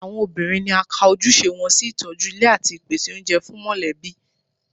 Àwọn obìnrin ni a ka ojúṣe wọn sí ìtọ́jú ilé àti ìpèsè oúnjẹ fún mọ̀lẹ́bí